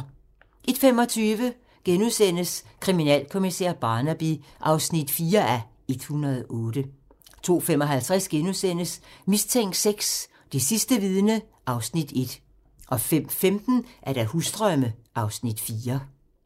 01:25: Kriminalkommissær Barnaby (4:108)* 02:55: Mistænkt VI: Det sidste vidne (Afs. 1)* 05:15: Husdrømme (Afs. 4)